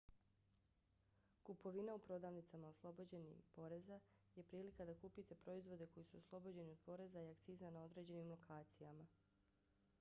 kupovina u prodavnicama oslobođenim poreza je prilika da kupite proizvode koji su oslobođeni od poreza i akciza na određenim lokacijama